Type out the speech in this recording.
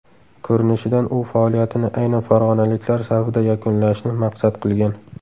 Ko‘rinishidan u faoliyatini aynan farg‘onaliklar safida yakunlashni maqsad qilgan.